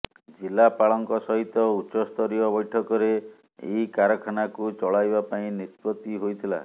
ଜିଲ୍ଲାପାଳଙ୍କ ସହିତ ଉଚ୍ଚସ୍ତରୀୟ ବୈଠକରେ ଏହି କାରଖାନାକୁ ଚଳାଇବା ପାଇଁ ନିଷ୍ପତ୍ତି ହୋଇଥିଲା